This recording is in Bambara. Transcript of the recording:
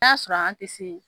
y'a sɔrɔ an ti se